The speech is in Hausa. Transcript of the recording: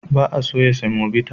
Ba a soya semobita.